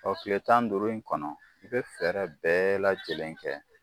kile tan ni duuru in kɔnɔ i bɛ fɛɛrɛ bɛɛ lajɛlen kɛ